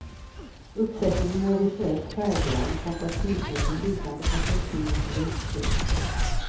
Uppsättningen är visuellt färggrann och fantasifull med lutande perspektiv och vridscen.